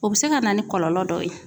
O be se ka na ni kɔlɔlɔ dɔ ye.